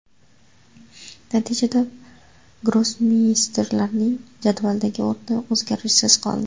Natijada grossmeysterlarning jadvaldagi o‘rni o‘zgarishsiz qoldi.